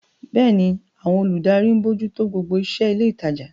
Bẹ́ẹ̀ni, àwọn olùdarí ń bójú tó gbogbo iṣẹ́ ilé ìtajà.